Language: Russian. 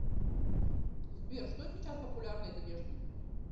сбер что сейчас популярно из одежды